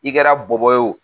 I kɛra bɔbɔ ye o